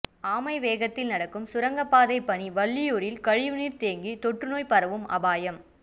ஆமைவேகத்தில் நடக்கும் சுரங்கப்பாதை பணி வள்ளியூரில் கழிவுநீர் தேங்கி தொற்றுநோய் பரவும் அபாயம்